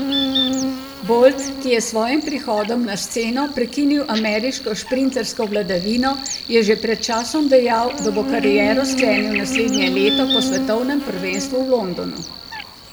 Bolt, ki je s svojim prihodom na sceno prekinil ameriško šprintersko vladavino, je že pred časom dejal, da bo kariero sklenil naslednje leto po svetovnem prvenstvu v Londonu.